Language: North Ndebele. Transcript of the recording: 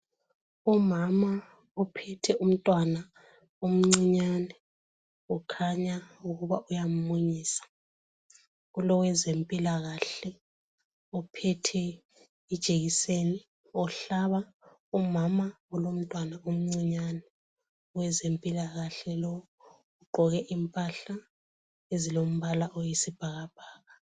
Umama ophethe umntwana omncinyane kukhanya ukuba uyamunyisa . Kulowezempilakahle ophethe ijekiseni, umhlaba umama olomntwana omncinyane . Owezempilakahle lowu ugqoke impahla ezilombala oyisibhakabhaka.